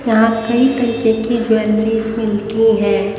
यहां पे की ज्वैलरिस मिलती हैं।